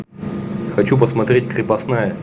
хочу посмотреть крепостная